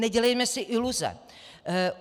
Nedělejme si iluze.